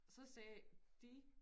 Så sagde de